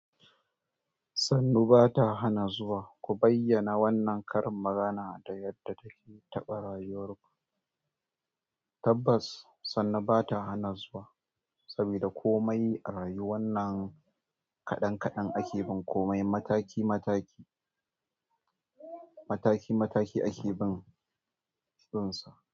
Sannu bata hanna zuwa ku bayyana wannan karin magana da yadda ta ke taɓa rayuwar ku. Tabbas, sannu ba ta hana zuwa saboda komai a rayu wannan kaɗan kaɗan ake bin komai mataki mataki mataki mataki ake bin shi.